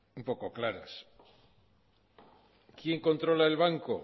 un poco claras quien controla el banco